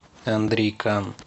андрей кан